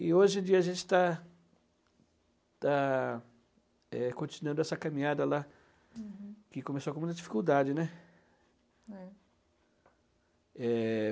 E hoje em dia a gente está está é continuando essa caminhada lá, que começou com muita dificuldade, né? É. É...